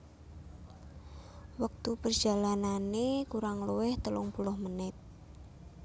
Wektu perjalanane kurang luwih telung puluh menit